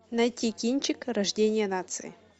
найти кинчик рождение нации